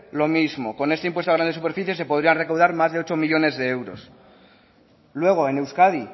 lo mismo con este impuesto a grandes superficies se podrían recaudar más de ocho millónes de euros luego en euskadi